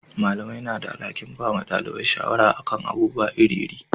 Malamai na da alhakin bada dalibai shawara a kan abubuwa iri iri